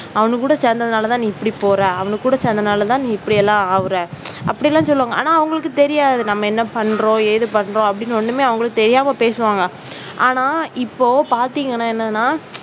அவனுக்கு கூட சேர்ந்ததால தான் நீ இப்படி போற அவன் கூட சேர்ந்ததினால் தான் நீ இப்படி எல்லாம் ஆகுற அப்படி எல்லாம் சொல்லுவாங்க. ஆனா அவங்களுக்கு வந்து தெரியாது நம்ம என்ன பண்றோம் ஏது பண்றோம் அப்படின்னு ஒண்ணுமே, அவங்களுக்கு தெரியாது. பேசுவாங்க ஆனால் இப்போ பாத்தீங்கன்னா என்னன்னா